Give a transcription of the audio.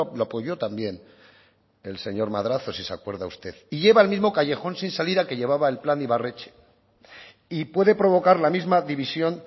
lo apoyó también el señor madrazo si se acuerda usted y lleva al mismo callejón sin salida que llevaba el plan ibarretxe y puede provocar la misma división